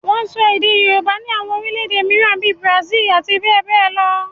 Wọ́n ń sọ èdè Yorùbá ní àwọn orílẹ̀ èdè mìíràn bíi Brazil àti bẹ́ẹ̀ bẹ́ẹ̀ lọ